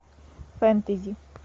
фэнтези